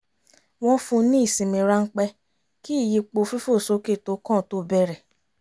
wọ́n fún ní ìsinmi ráńpẹ́ kí ìyípo fífòsókè tó kàn tó bẹ̀rẹ̀